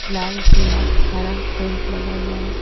लाल पीला हरा पेंट लगा हुआ हैं।